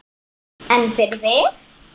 En fyrir þig?